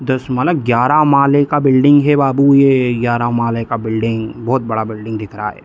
दस माने ग्यारह महले का बिल्डिंग है बाबू ये ग्यारह महले का बिल्डिंग बहुत बड़ा बिल्डिंग दिख रहा है।